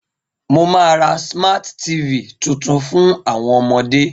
Mo ma ra Smart TV tuntun fun àwọn ọmọde.